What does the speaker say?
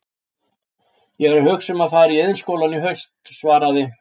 Ég er að hugsa um að fara í Iðnskólann í haust, svaraði